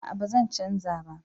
A'a ba zan canja ba